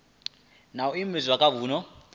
na u imvumvusa kha vunu